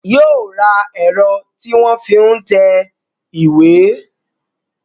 Yóò ra ẹ̀rọ tí wọ́n fi ń tẹ ìwé